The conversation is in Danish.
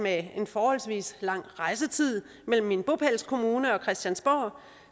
at den forholdsvis lange rejsetid mellem min bopælskommune og christiansborg